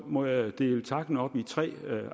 må jeg dele takken op i tre